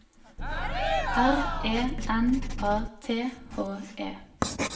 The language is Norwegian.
R E N A T H E